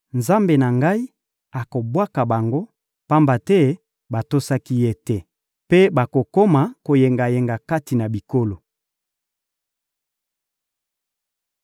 Nzambe na ngai akobwaka bango, pamba te batosaki Ye te, mpe bakokoma koyengayenga kati na bikolo.